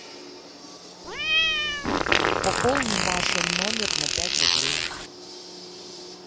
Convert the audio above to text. пополни машин номер на пять рублей